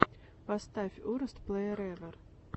поставь уростплэерэвэр